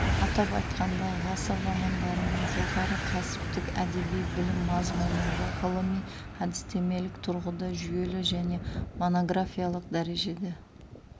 атап айтқанда ғасыр романдарының жоғары кәсіптік әдеби білім мазмұнында ғылыми әдістемелік тұрғыда жүйелі және монографиялық дәрежеде